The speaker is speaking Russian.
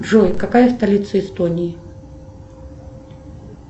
джой какая столица эстонии